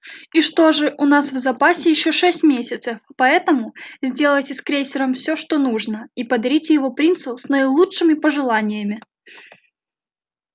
и что же у нас в запасе ещё шесть месяцев поэтому сделайте с крейсером всё что нужно и подарите его принцу с наилучшими пожеланиями